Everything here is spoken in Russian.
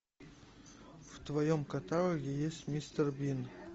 в твоем каталоге есть мистер бин